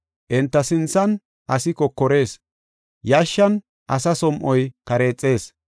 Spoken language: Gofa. Enta sinthan asi kokorees; yashshan asa som7oy kareexees.